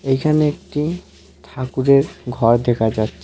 এখানে একটি ঠাকুরের ঘর দেখা যাচ্ছে.